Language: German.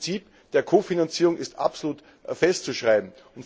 Das Prinzip der Kofinanzierung ist absolut festzuschreiben.